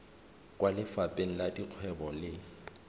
kwa lefapheng la dikgwebo le